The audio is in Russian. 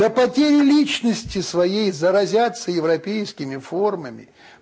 запотели личности своей заразятся европейскими формами